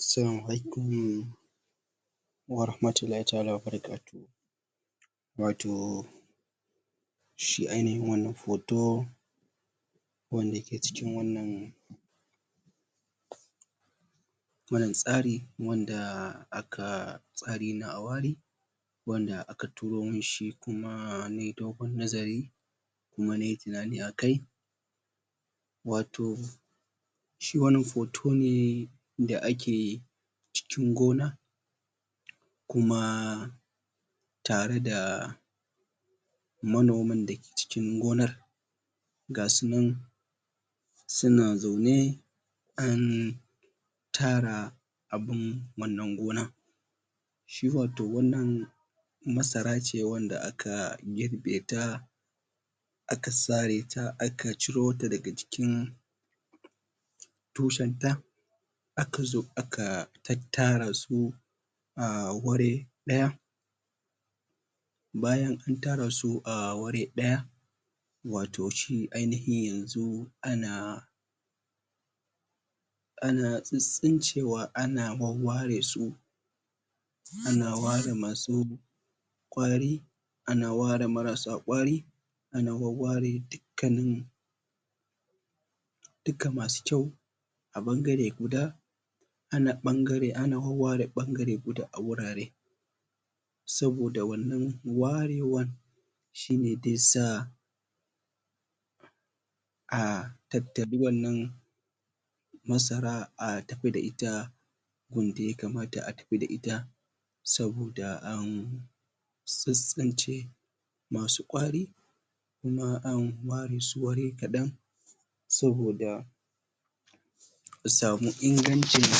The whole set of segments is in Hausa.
Salamu alaikum warahmatullahi ta'ala wabarakatuh, wato shi ainihin wannan foto wanda ke cikin wannan wannan tsari wanda aka tsari na a wari wanda aka turo mun shi kuma mai dogon nazari, kuma nai tunani a kai. Wato shi wannan foto ne da ake cikin gona kuma tare da manoman da ke cikin gonar, ga su nan su na zaune an tara abun wannan gonan. Shi wato wannan masara ce wan da aka girbe ta, aka sare ta aka ciro ta da ga jikin tushen ta, aka zo aka tara su a ware ɗaya, an tara abun wannan gonan. Shi wato wannan masara ce wanda aka girbe ta, aka sare ta aka ciro ta daga jikin tushen ta, aka zo aka tattara su a ware ɗaya. Bayan an tara su a ware ɗaya watau shi ainihi yanzu ana ana tsitsincewa ana wawware su, ana ware ma su ƙwari ana ware marasa ƙwari, ana wawware dukkanin duka masu kyau a ɓangare guda, ana ɓangare ana wawware ɓangare guda a wurare. Saboda wannan warewan shine de sa a tattaɓi wannan masara a tafi da ita gun da ya kamata a tafi da ita, saboda an tsitsince masu ƙwari kuma an ware su ware kaɗan, saboda a samu ingancin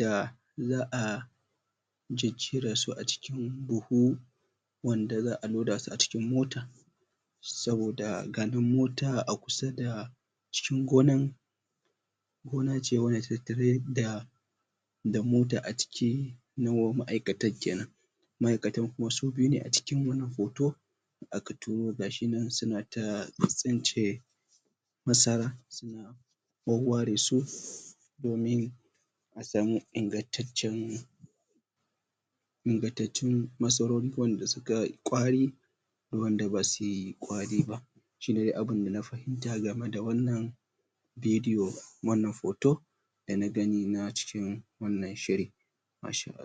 da za'a jejjera su a cikin buhu wanda za'a loda su a cikin mota, saboda ga nan mota a kusa da cikin gonan, gona ce wanda ta tattare da da mota a cike na ma'aikatan kenan, ma'aikatan kuma su biyu ne a cikin wannan foto aka turo, ga shi nan su na ta tsitsince masara, suna wawware su domin a samu ingantaccen ingatatun masarori waɗanda suka yi ƙwari, da wanda basu yi ƙwari ba. Shine dai abin da na fahimta game da wannan video wannan foto da na gani na cikin wannan shiri. masha'all